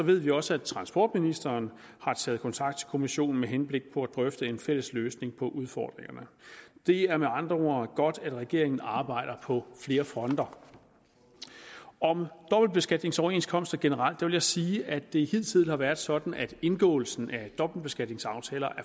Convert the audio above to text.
ved vi også at transportministeren har taget kontakt til kommissionen med henblik på at drøfte en fælles løsning på udfordringerne det er med andre ord godt at regeringen arbejder på flere fronter om dobbeltbeskatningsoverenskomster generelt vil jeg sige at det hidtil har været sådan at indgåelsen af dobbeltbeskatningsaftaler